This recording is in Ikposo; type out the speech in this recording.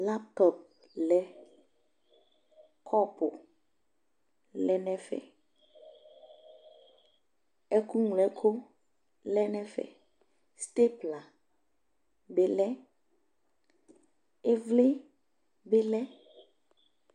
laptɔp lɛ kɔpu lɛ no ɛfɛ ɛko ŋlo ɛko lɛ no ɛfɛ stapla bi lɛ ivli bi lɛ